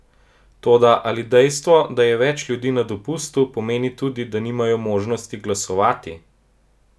Toda, ali dejstvo, da je več ljudi na dopustu, pomeni tudi, da nimajo možnosti glasovati?